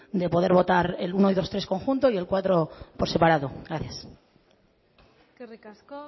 de poder votar el uno dos y tres conjunto y el cuatro por separado gracias eskerrik asko